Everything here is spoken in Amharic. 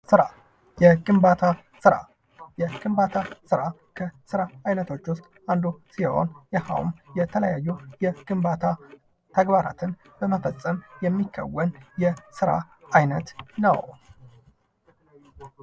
ስራ፤ የግንባታ ስራ፦ የግንባታ ስራ ከስራ አይነቶች ውስጥ አንዱ ሲሆን ይኸውም የተለያዩ የግንባታ ተግባራትን በመፈፀም የሚከወን የስራ አይነት ነው።